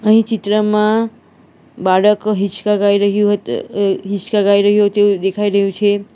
અહીં ચિત્રમાં બાળક હિંચકા ગાય રહ્યું હોત હિંચકા ગાય રહ્યું હોય તેવું દેખાય રહ્યું છે.